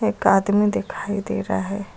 Garden दिखाई दे रहा है।